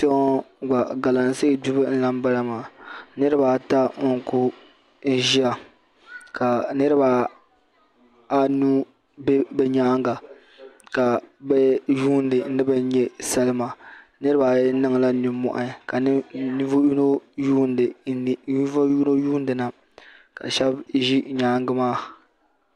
Kpeŋɔ gba Galamse gbibi n lahi bala maa niriba ata n kuli ʒia ka niriba anu be bɛ nyaanga ka bɛ yuuna ni bɛ nya salima niriba ayi niŋla ninmohi ka ninvuɣu yino yuuni na ka sheba ʒi nyaanga maa.